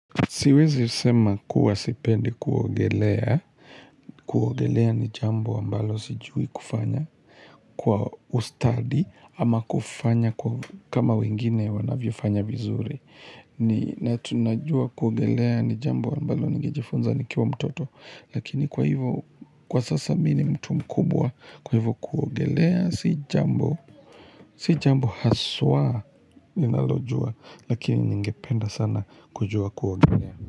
Siwezi sema kuwa sipendi kuogelea, kuogelea ni jambo ambalo sijui kufanya kwa ustadi ama kufanya kama wengine wanavyofanya vizuri. Ni, na tunajuwa kuogelea ni jambo ambalo ningejifunza nikiwa mtoto, lakini kwa hivyo kwa sasa mimi ni mtu mkubwa, kwa hivyo kuogelea si jambo, si jambo haswa ninalojua lakini ningependa sana kujua kuogelea.